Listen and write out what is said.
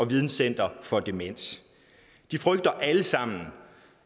videnscenter for demens de frygter alle sammen